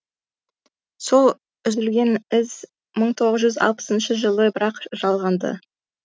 сол үзілген із мың тоғыз жүз алпысыншы жылы бірақ жалғанды